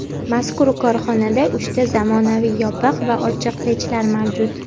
Mazkur korxonada uchta zamonaviy yopiq va ochiq pechlar mavjud.